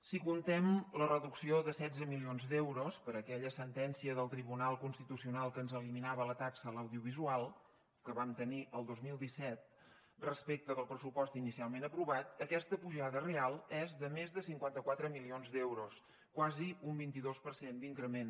si comptem la reducció de setze milions d’euros per aquella sentència del tribunal constitucional que ens eliminava la taxa a l’audiovisual que vam tenir el dos mil disset respecte del pressupost inicialment aprovat aquesta pujada real és de més de cinquanta quatre milions d’euros quasi un vint dos per cent d’increment